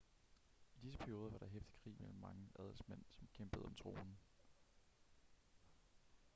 i disse perioder var der heftig krig mellem mange adelsmænd som kæmpede om tronen